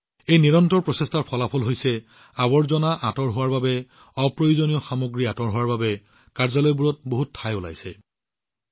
এই নিৰন্তৰ প্ৰচেষ্টাসমূহৰ ফলাফল হৈছে আৱৰ্জনা আঁতৰোৱা অপ্ৰয়োজনীয় সামগ্ৰী আঁতৰোৱাৰ ফলত কাৰ্যালয়বোৰত যথেষ্ট স্থান মুকলি হৈছে নতুন স্থান উপলব্ধ হৈছে